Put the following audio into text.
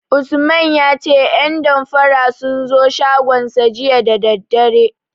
Usman ya ce 'yan damfara sun zo shagonsa jiya da daddare.